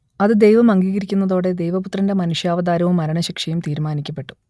അത് ദൈവം അംഗീകരിക്കുന്നതോടെ ദൈവപുത്രന്റെ മനുഷ്യാവതാരവും മരണശിക്ഷയും തീരുമനിക്കപ്പെട്ടു